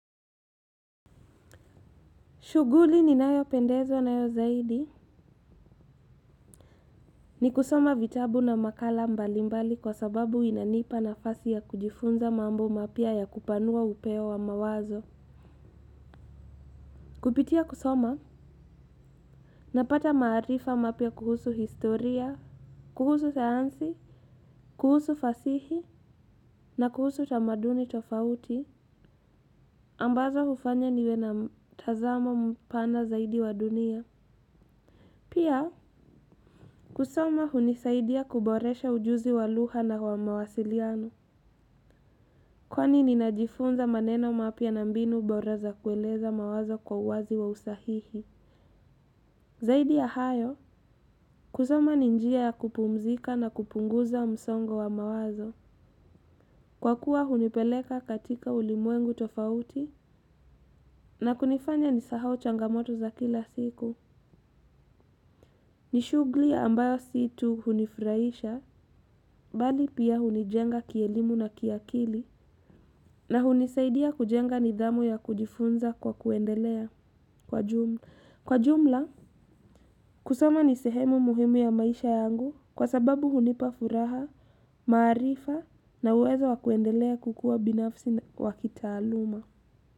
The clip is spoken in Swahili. Shughuli ninayopendezwa nayo zaidi, ni kusoma vitabu na makala mbalimbali kwa sababu inanipa nafasi ya kujifunza mambo mapya ya kupanua upeo wa mawazo. Kupitia kusoma, ninapata maarifa mapya kuhusu historia, kuhusu sayansi, kuhusu fasihi na kuhusu tamaduni tofauti ambazo hufanya niwe na mtazama mpana zaidi wa dunia. Pia, kusoma hunisaidia kuboresha ujuzi wa lugha na wamawasiliano, kwani ninajifunza maneno mapya na mbinu bora za kueleza mawazo kwa uwazi wa usahihi. Zaidi ya hayo, kusoma ni njia ya kupumzika na kupunguza msongo wa mawazo. Kwa kuwa hunipeleka katika ulimwengu tofauti na kunifanya nisahau changamoto za kila siku. Nishughuli ambayo sio tu hunifurahisha, bali pia hunijenga kielimu na kiakili, na hunisaidia kujenga nidhamu ya kujifunza kwa kuendelea kwa jumla. Kwa jumla, kusoma ni sehemu muhimu ya maisha yangu, kwa sababu hunipa furaha, maarifa na uwezo wa kuendelea kukua binafsi wa kitaaluma.